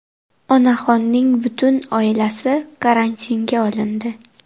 Onaxonning butun oilasi karantinga olindi.